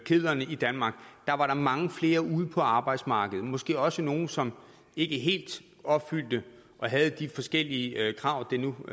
kedlerne i danmark der var der mange flere ude på arbejdsmarkedet måske også nogle som ikke helt opfyldte de forskellige krav der nu